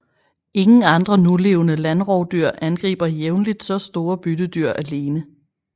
Ingen andre nulevende landrovdyr angriber jævnligt så store byttedyr alene